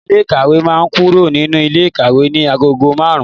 Ọ̀gá ilé ìkàwé máa kúrò nínú ilé ikawe ní agogo márùn-ún.